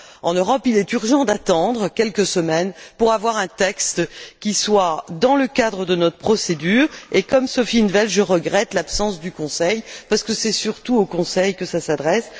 en Europe, il est urgent d'attendre quelques semaines pour avoir un texte qui s'inscrive dans le cadre de notre procédure et, comme Sophia in 't Veld, je regrette l'absence du Conseil, parce que c'est surtout au Conseil que cela s'adresse.